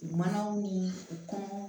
U manaw ni u